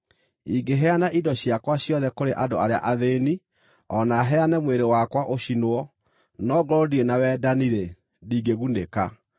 Ingĩheana indo ciakwa ciothe kũrĩ andũ arĩa athĩĩni, o na heane mwĩrĩ wakwa ũcinwo, no ngorwo ndirĩ na wendani-rĩ, ndingĩgunĩka.